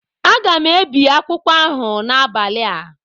Aga m ebi akwụkwọ ahụ n'abalị a